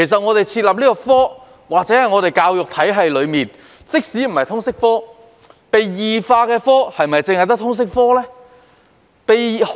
我們想想，在香港的教育體系中，被異化的科目是否只有通識科？